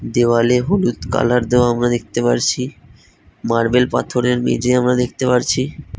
দেয়ালে হলুদ কালার দেওয়া আমরা দেখতে পারছি মার্বেল পাথরের মেঝে আমরা দেখতে পারছি।